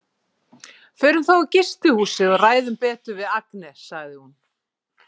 Förum þá á gistihúsið og ræðum betur við Agne, sagði hún.